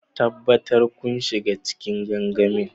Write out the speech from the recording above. Tabbatar kun shiga cikin gangamin.